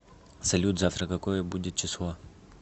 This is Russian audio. салют завтра какое будет число